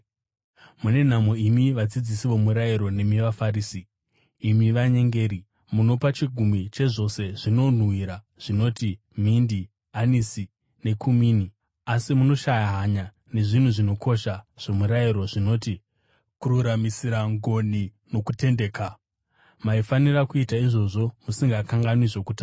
“Mune nhamo imi vadzidzisi vomurayiro nemi vaFarisi, imi vanyengeri! Munopa chegumi chezvose zvinonhuhwira zvinoti: mindi, anisi nekumini. Asi munoshaya hanya nezvinhu zvinokosha zvomurayiro zvinoti: kururamisira, ngoni nokutendeka. Maifanira kuita izviwo musingakanganwi zvokutanga.